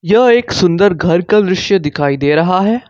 जो एक सुंदर घर का दृश्य दिखाई दे रहा है।